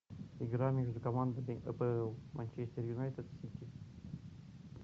игра между командами апл манчестер юнайтед сити